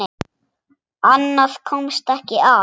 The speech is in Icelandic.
Annað komst ekki að!